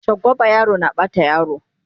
shagwaba yaro na Bata yaro